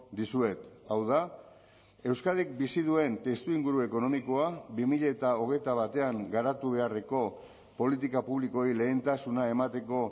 dizuet hau da euskadik bizi duen testuinguru ekonomikoa bi mila hogeita batean garatu beharreko politika publikoei lehentasuna emateko